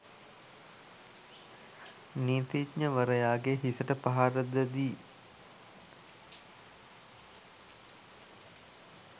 නීතිඥවරයාගේ හිසට පහර ද දී